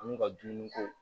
An ka dumuni ko